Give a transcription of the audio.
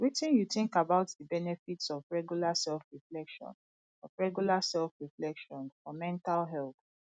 wetin you think about di benefits of regular selfreflection of regular selfreflection for mental health